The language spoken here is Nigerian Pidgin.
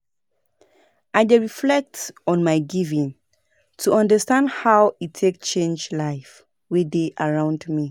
I dey reflect on my giving to understand how e take change life wey dey around me.